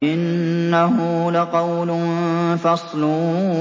إِنَّهُ لَقَوْلٌ فَصْلٌ